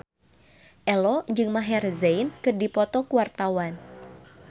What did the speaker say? Ello jeung Maher Zein keur dipoto ku wartawan